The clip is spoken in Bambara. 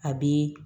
A bi